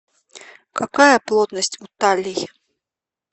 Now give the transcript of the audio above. какая плотность у таллий